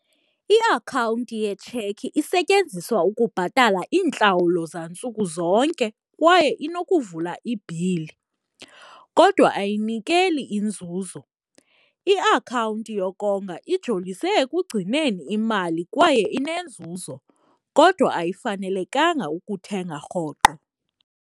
Iakhawunti yetshekhi isetyenziswa ukubhatala iintlawulo zantsuku zonke kwaye inokuvula ibhili, kodwa ayinikeli inzuzo. Iakhawunti yokonga ijolise ekugcineni imali kwaye inenzuzo kodwa ayifanelekanga ukuthenga rhoqo.